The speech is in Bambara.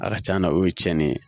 A ka c'a la o ye tiɲɛni ye